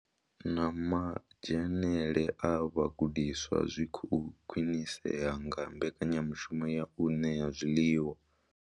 Na madzhenele a vhagudiswa zwi khou khwinisea nga mbekanyamushumo ya u ṋea zwiḽiwa.